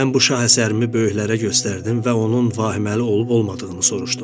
Mən bu şah əsərimi böyüklərə göstərdim və onun vahiməli olub-olmadığını soruşdum.